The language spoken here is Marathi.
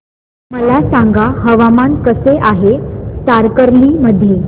मला सांगा हवामान कसे आहे तारकर्ली मध्ये